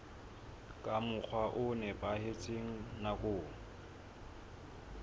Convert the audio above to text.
ka mokgwa o nepahetseng nakong